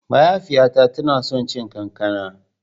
Mahaifiyata tana son cin kankana.